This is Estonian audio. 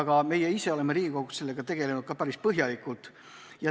Ka meie oleme Riigikogus sellega tegelenud päris põhjalikult.